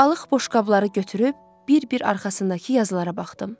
Balıq boşqabları götürüb bir-bir arxasındakı yazılara baxdım.